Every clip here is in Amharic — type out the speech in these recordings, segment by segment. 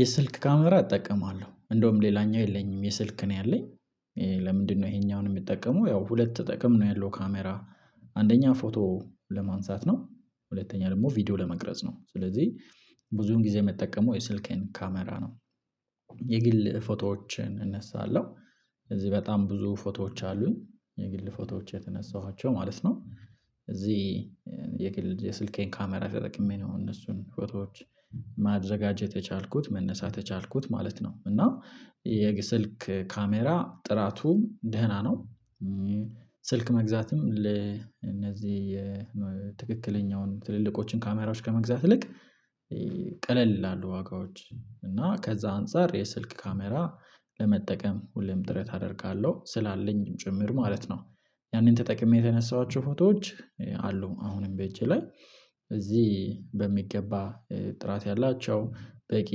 የስልክ ካሜራ እጠቀማለሁ እንደውም ሌላኛው የለኝም የስልክ ነው ያለኝ። ለምንድነው ይሄኛውን የምጠቀሙ ያው ሁለት ጠቅም ነው ያለው ካሜራ። አንደኛ ፎቶ ለማንሳት ነው ሁለተኛ ደግሞ ቪዲዮ ለመቅረጽ ነው ስለዚህ ብዙን ጊዜ የምጠቀመው የስልኬን ካሜራ ነው። የግል ፎቶዎችን እነሳለሁ እዚህ በጣም ብዙ ፎቶዎች አሉኝ የግል ፎቶዎች የተነሳኋቸው ማለት ነው። እዚህ የስልኬን ካሜራ ተጠቅሜ ነው እነሱን ፎቶዎች ማዘጋቸት የቻልኩት መነሳት የቻልኩት ማለት ነው። እና የስልክ ካሜራ ጥራቱ ደህና ነው። ስልክ መግዛትም ለእነዚህ የትክክለኛውን ትልልቆችን ካሜራዎች ከመግዛት ይልቅ ቀለል ይላሉ ዋጋዎች እና ከዛ አንፃር የስልክ ካሜራ ለመጠቀም ሁሌም ጥረት አደርጋለሁ ስላለኝም ጭምር ማለት ነው። ያንን ተጠቅሜ የተነሳኋቸው ፎቶዎች አሉ አሁንም በጄ ላይ እዚህ በሚገባ ጥራት ያላቸው በቂ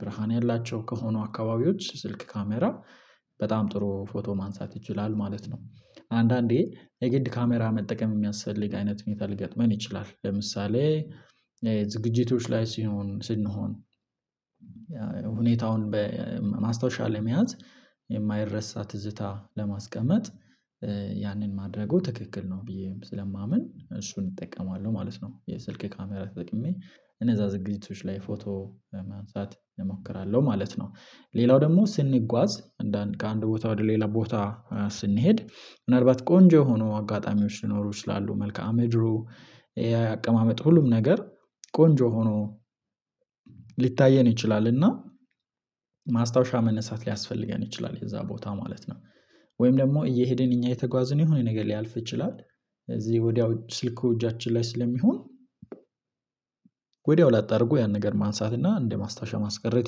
ብርሃን ያላቸው ከሆኑ አካባቢዎች ስልክ ካሜራ በጣም ጥሩ ፎቶ ማንሳት ይችላል ማለት ነው። አንዳንዴ የግድ ካሜራ መጠቀም የሚያስፈልግ አይነት ሁኔታ ሊገጥመን ይችላል ለምሳሌ ዝግጅቶች ላይ ሲሆን ስንሆን ሁኔታውን በማስታወሻ ለመያዝ የማይረሳ ትዝታ ለማስቀመጥ ያንን ማድረጉ ትክክል ነው ብዬ ስለማምን እሱን እጠቀማለሁ ማለት ነው። የስልክ ካሜራ ተጠቅሜ እነዛ ዝግጅቶች ላይ ፎቶ ለማንሳት እሞክራለሁ ማለት ነው። ሌላው ደግሞ ስንጓዝ ከአንድ ቦታ ወደ ሌላ ቦታ ስንሄድ ምናልባት ቆንጆ የሆኑ አጋጣሚዎች ሊኖሩ ይችላሉ መልከአምድሩ የአቀማመጥ ሁሉም ነገር ቆንጆ ሆኖ ሊታየን ይችላል። እና ማስታወሻ መነሳት ሊያስፈልገን ይችላል የዛ ቦታ ማለት ነው ወይም ደግሞ እየሄድን እኛ የተጓዝን የሆነ ነገር ሊያልፍ ይችላል። እዚህ ወዲያው ስልኩ እጃችን ላይ ስለሚሆን ወዲያው ላጥ አድርጎ ያንን ነገር ማንሳት እና እንደ ማስታወሻ ማስቀረት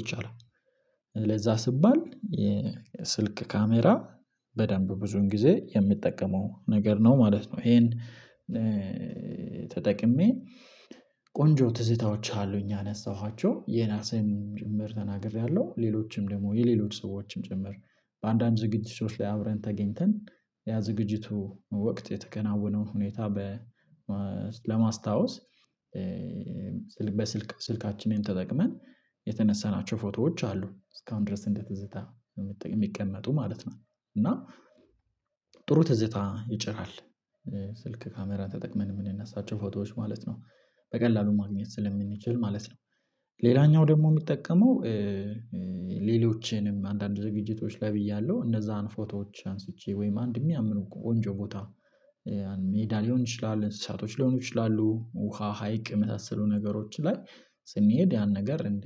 ይቻላል። ለዛ ሲባል የስልክ ካሜራ በደንብ ብዙን ጊዜ የምጠቀመው ነገር ነው ማለት ነው። ይሄን ተጠቅሜ ቆንጆ ትዝታዎች አሉኝ የአነሳኋቸው የራሴም ጭምር ተናግሬያለሁ ሌሎችም ደግሞ የሌሎች ሰዎችም ጭምር በአንዳንድ ዝግጅቶች ላይ አብረን ተገኝተን ያ ዝግጅቱ ወቅት የተከናወነው ሁኔታ በ ለማስታወስ በስልክ ስልካችንን ተጠቅመን የተነሳናቸው ፎቶዎች አሉ እስካሁን ድረስ እንደ ትዝታ የሚቀመጡ ማለት ነው። እና ጥሩ ትዝታ ይጭራል ስልክ ካሜራ ተጠቅመን የምንነሳቸው ፎቶዎች ማለት ነው። በቀላሉ ማግኘት ስለምንችል ማለት ነው። ሌላኛው ደግሞ የሚጠቀመው ሌሎችንም አንዳንድ ዝግጅቶች ላይ ብያለሁ እነዛን ፎቶዎች አንስቼ ወይም አንድ የሚያምሩ ቆንጆ ቦታ ሜዳ ሊሆን ይችላል እንስሳቶች ሊሆኑ ይችላሉ ውሃ ሀይቅ የመሳሰሉ ነገሮች ላይ ስንሄድ ያን ነገር እንደ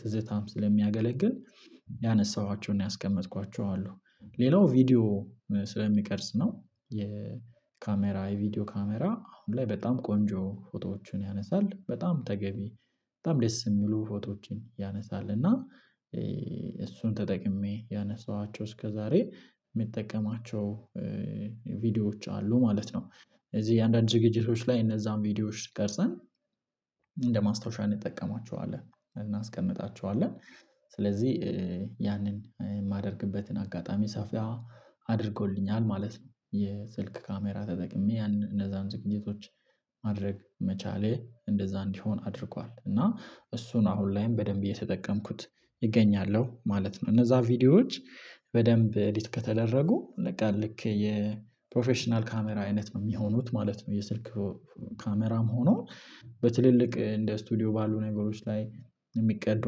ትዝታም ስለሚያገለግል ያነሳኋቸውና ያስቀመጥኳቸው አሉ። ሌላው ቪዲዮ ስለሚቀርጽ ነው የካሜራ የቪዲዮ ካሜራ አሁን ላይ በጣም ቆንጆ ፎቶዎችን ያነሳል በጣም ተገቢ በጣም ደስ የሚሉ ፎቶዎችን ያነሳል እና እሱን ተጠቅሜ ያነሳኋቸው እስከዛሬ የምጠቀማቸው ቪዲዮዎች አሉ ማለት ነው። እዚህ እያንዳንዱ ዝግጅቶች ላይ እነዛን ቪዲዮዎች ቀርጸን እንደማስታወሻ እንጠቀማቸዋለን እናስቀምጣቸዋለን። ስለዚህ ያንን የማደርግበትን አጋጣሚ ሰፋ አድርጎልኛል ማለት ነው። የስልክ ካሜራ ተጠቅሜ እነዛን ዝግጅቶች ማድረግ መቻሌ እንደዛ እንዲሆን አድርጓል እና እሱን አሁን ላይም በደንብ የተጠቀምኩት እገኛለሁ ማለት ነው። እነዛ ቪዲዮዎች በደንብ ኤዲት ከተደረጉ በቃ ልክ የፕሮፌሽናል ካሜራ አይነት ነው የሚሆኑት ማለት ነው። የስልክ ካሜራም ሆኖ በትልልቅ እንደ ስቱዲዮ ባሉ ነገሮች ላይ የሚቀዱ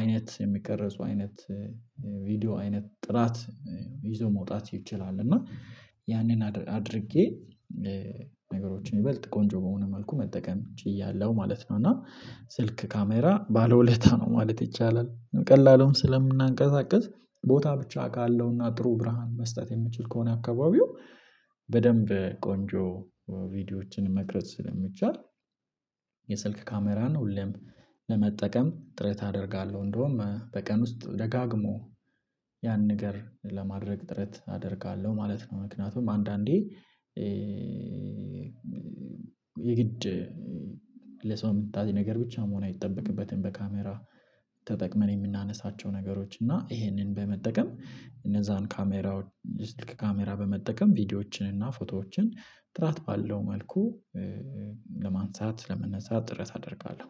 አይነት የሚቀረጹ አይነት ቪዲዮ አይነት ጥራት ይዞ መውጣት ይችላል። እና ያንን አድርጌ ነገሮችን ይበልጥ ቆንጆ በሆነ መልኩ መጠቀም ችያለሁ ማለት ነው። እና ስልክ ካሜራ ባለውለታ ነው ማለት ይቻላል። ቀላሉን ስለምናንቀሳቅስ ቦታ ብቻ አውቃለሁና ጥሩ ብርሃን መስጠት የምችል ከሆነ አካባቢው በደንብ ቆንጆ ቪዲዮዎችን መቅረጽ ስለሚቻል የስልክ ካሜራን ሁሌም ለመጠቀም ጥረት አደርጋለሁ እንደውም በቀን ውስጥ ደጋግሞ ያን ነገር ለማድረግ ጥረት አደርጋለሁ ማለት ነው። ምክንያቱም አንዳንዴ የግድ ለሰው ሚታይ ነገር ብቻ መሆን አይጠበቅበትም በካሜራ ተጠቅመን የምናነሳቸው ነገሮች እና ይሄንን በመጠቀም እነዛን ካሜራ የስልክ ካሜራ በመጠቀም ቪዲዮዎችን እና ፎቶዎችን ጥራት ባለው መልኩ ለማንሳት ለመነሳት ጥረት አደርጋለሁ።